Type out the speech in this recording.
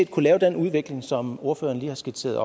kunne lave den udvikling som ordføreren lige har skitseret